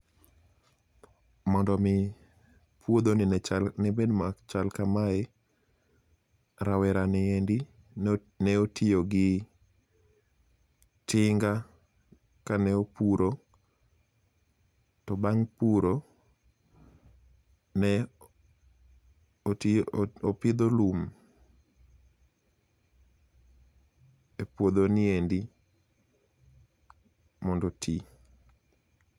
Mondo omi puodhoni ne bed machal kamae, rawerani endi notiyo gi tinga kane opuro, to bang' puro, ne opidho lum e puodhoni endi, mondo oti.